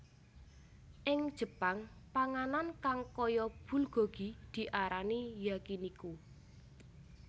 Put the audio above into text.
Ing Jepang panganan kang kaya bulgogi diarani Yakiniku